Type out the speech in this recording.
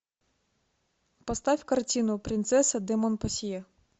поставь картину принцесса де монпансье